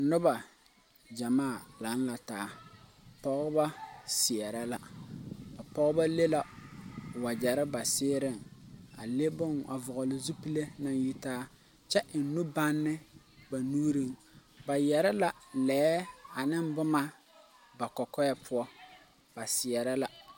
Nuba jamaa lang la taa pɔgba seerɛ la a pɔgba le la wɔjeri ba seɛreẽn a vɔgli zupile nang yitaa kye en nubanne ba nuuring ba yere la lɛɛ ane buma ba kɔkɔɛ pou ba seerɛ la.